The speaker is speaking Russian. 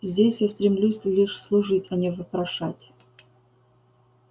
здесь я стремлюсь лишь служить а не вопрошать